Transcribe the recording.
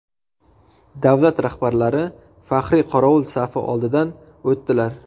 Davlat rahbarlari faxriy qorovul safi oldidan o‘tdilar.